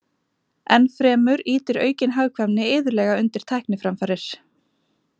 Ennfremur ýtir aukin hagkvæmni iðulega undir tækniframfarir.